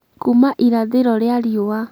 kuuma irathĩro rĩa riua